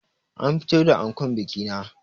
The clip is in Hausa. An fito da ankon bikina